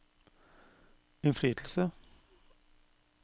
innflytelse